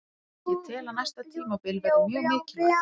Ég tel að næsta tímabil verði mjög mikilvægt.